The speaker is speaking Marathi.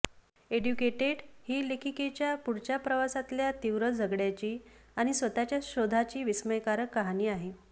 एड्युकेटेड ही लेखिकेच्या पुढच्या प्रवासातल्या तीव्र झगड्याची आणि स्वतःच्या शोधाची विस्मयकारक कहाणी आहे